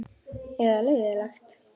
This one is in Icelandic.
Eða leiðinlegt?